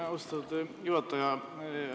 Aitäh, austatud juhataja!